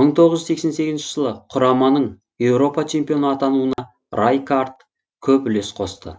мың тоғыз жүз сексен сегізінші жылы құраманың еуропа чемпионы атануына райкаард көп үлес қосты